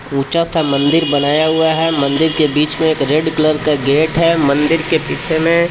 ऊंचा सा मंदिर बनाया हुआ हे मंदिर के बिच मे एक रेड कलर का गेट हे मंदिर के पीछे मे--